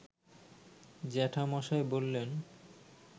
জ্যাঠামশায় বললেন